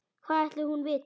Hvað ætli hún viti?